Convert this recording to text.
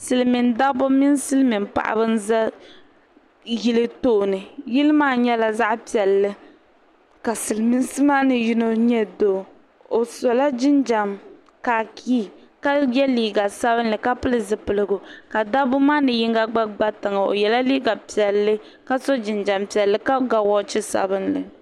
Silimiin dabba mini Silimiin paɣaba n za yili tooni yili maa nyɛla zaɣa piɛlli ka silimiinsi maani yino nyɛ doo o sola jinjiɛm kaakii ka ye liiga sabinli ka pili zipiligu dabba maani yinga gba tiŋa o yela liiga piɛlli ka so jinjiɛm piɛlli ka ga woochi sabinli.